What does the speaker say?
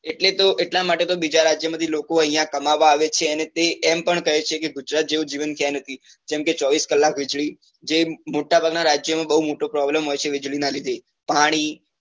એટલે તો એટલા માટે તો બીજા રાજ્યો માંથી લોકો અહિયાં કમાવવા આવે છે અને તે એમ પણ કહે છે કે ગુજરાત જેવું જીવન ક્યાય નથી જેમ કે ચોવીસ કલાક વીજળી જે મોટા ભાગ ના રાજ્યો નો બઉ મોટો problem હોય છે વીજળી નાં લીધે પાણી